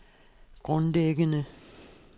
grundlæggende